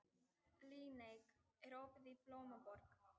Líneik, er opið í Blómaborg?